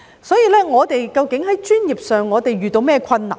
所以，我們在專業上究竟遇到甚麼困難呢？